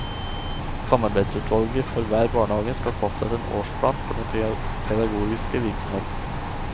Samarbeidsutvalget for hver barnehage skal fastsette en årsplan for den pedagogiske virksomheten.